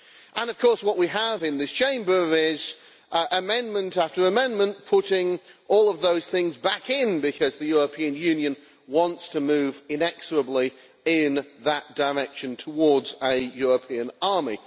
And of course what we have in this Chamber is amendment after amendment putting all of those things back in, because the European Union wants to move inexorably in that direction, towards a European army.